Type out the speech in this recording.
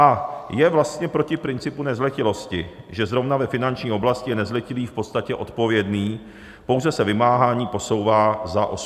A je vlastně proti principu nezletilosti, že zrovna ve finanční oblasti je nezletilý v podstatě odpovědný, pouze se vymáhání posouvá za 18. rok.